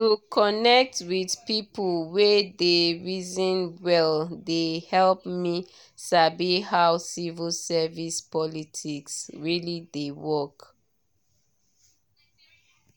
to connect with people wey dey reason well dey help me sabi how civil service politics really dey work.